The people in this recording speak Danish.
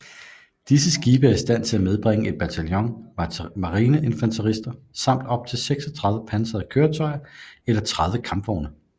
Disse skibe er i stand til at medbringe et bataljon marineinfanterister samt op til 36 pansrede køretøjer eller 30 kampvogne